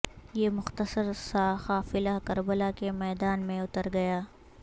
یہ مختصر سا قافلہ کربلا کے میدان میں اتر گیا